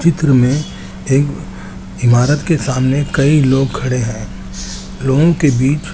चित्र में एक इमारत के सामने कई लोग खड़े है वे के बिच--